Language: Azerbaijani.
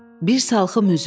Bir salxım üzüm.